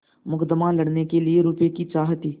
मुकदमा लड़ने के लिए रुपये की चाह थी